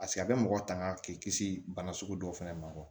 Paseke a bɛ mɔgɔ tanga k'i kisi bana sugu dɔw fɛnɛ ma